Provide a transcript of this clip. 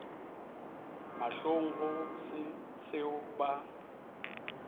mahlong go se seo ba